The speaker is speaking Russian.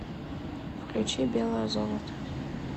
включи белое золото